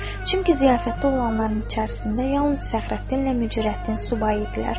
Çünki ziyafətdə olanların içərisində yalnız Fəxrəddinlə Mücərrəttin subay idilər.